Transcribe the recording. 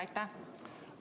Aitäh!